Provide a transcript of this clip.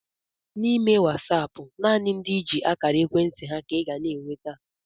N'ime Wasaapụ nanị ndị i ji akara ekwentị ha ka I ga n'enweta